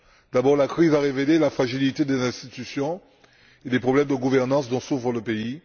D'abord, la crise a révélé la fragilité des institutions et les problèmes de gouvernance dont souffre le pays.